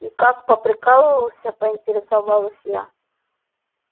и как поприкалывался поинтересовалась я